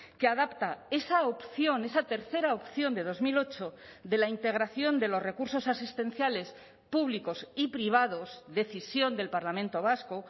que adapta esa opción esa tercera opción de dos mil ocho de la integración de los recursos asistenciales públicos y privados decisión del parlamento vasco